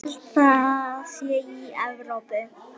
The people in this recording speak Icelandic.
Held það sé í Evrópu.